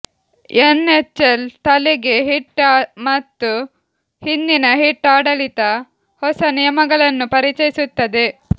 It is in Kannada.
ಎನ್ಎಚ್ಎಲ್ ತಲೆಗೆ ಹಿಟ್ ಮತ್ತು ಹಿಂದಿನ ಹಿಟ್ ಆಡಳಿತ ಹೊಸ ನಿಯಮಗಳನ್ನು ಪರಿಚಯಿಸುತ್ತದೆ